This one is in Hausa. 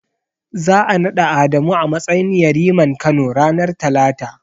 Za'a naɗa Adamu a matsayin yariman Kano, ranar Talata.